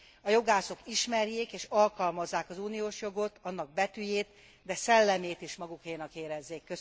A jogászok ismerjék és alkalmazzák az uniós jogot, annak betűjét, de szellemét is magukénak érezzék.